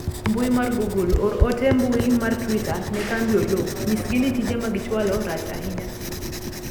mbui mar google or ote mbui mar twita ne kambi oloo nyisgi ni tije ma gichwalo rach ahinya